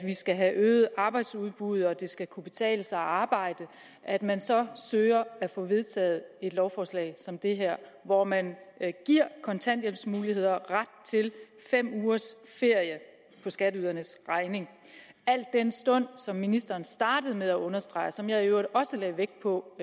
skal have øget arbejdsudbud og det skal kunne betale sig at arbejde at man så søger at få vedtaget et lovforslag som det her hvor man giver kontanthjælpsmodtagere ret til fem ugers ferie på skatteydernes regning al den stund som ministeren startede med at understrege og som jeg i øvrigt også lagde vægt på